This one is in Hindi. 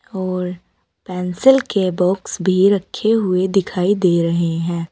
और पेंसिल के बॉक्स भी रखे हुए दिखाई दे रहे हैं।